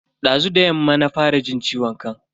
Dazu da yamma na fara jin ciwon kan.